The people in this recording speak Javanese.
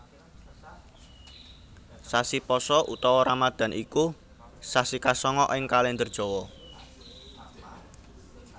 Sasi Pasa utawa Ramadan iku sasi kasanga ing Kalèndher Jawa